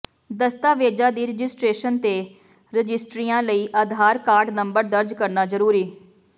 ਦਸਤਾਵੇਜ਼ਾਂ ਦੀ ਰਜਿਸਟ੍ਰੇਸ਼ਨ ਤੇ ਰਜਿਸਟਰੀਆਂ ਲਈ ਆਧਾਰ ਕਾਰਡ ਨੰਬਰ ਦਰਜ ਕਰਨਾ ਜ਼ਰੂਰੀ